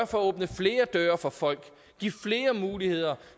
for at åbne flere døre for folk give flere muligheder